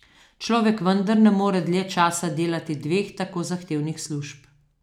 Človek vendar ne more dlje časa delati dveh tako zahtevnih služb.